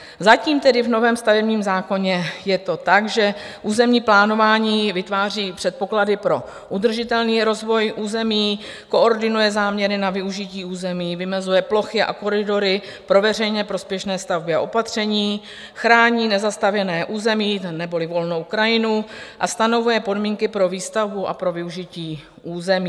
Zatím tedy v novém stavebním zákoně je to tak, že územní plánování vytváří předpoklady pro udržitelný rozvoj území, koordinuje záměry na využití území, vymezuje plochy a koridory pro veřejně prospěšné stavby a opatření, chrání nezastavěné území neboli volnou krajinu a stanovuje podmínky pro výstavbu a pro využití území.